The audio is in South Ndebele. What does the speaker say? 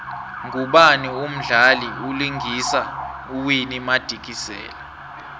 ngubani umdlali vlingisa uwinnie madikizela